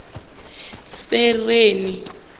sereni